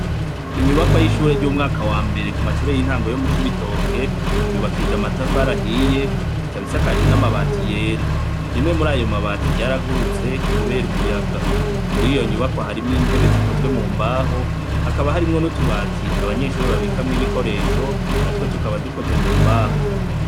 Inyubakwa y' ishure y' umwaka wa mbere mu mashure y' intango yo mu Cibitoke, yubakishijw' amatafar'ahiy' ikab' isakajwe n' amabati yera, rimwe murayo mabati ryaragurutse kuber' umuyaga; muriyo nyubakwa harimw' intebe zikozwe mu mbaho, hakaba harimwo n' utubati abanyeshure babikamw' ibikoresho natwo tukaba dukozwe mu mbaho.